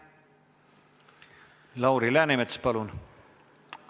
Lauri Läänemets, palun!